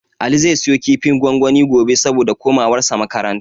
Ali zai siyo kifin gwangwani gobe, saboda komawarsa makaranta.